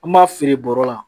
An b'a feere bɔrɔ la